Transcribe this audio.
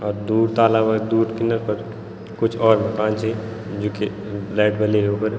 और दूर ताल वे दूर किनर पर कुछ और दूकान छी जू की लाइट बली युन्फर।